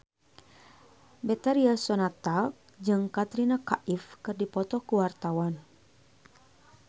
Betharia Sonata jeung Katrina Kaif keur dipoto ku wartawan